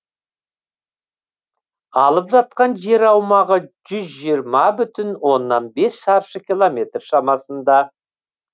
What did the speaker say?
алып жатқан жер аумағы жүз жиырма бүтін оннан бес шаршы километр шамасында